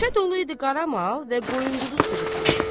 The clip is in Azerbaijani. Küçə dolu idi qara mal və qoyun quzu sürüsü ilə.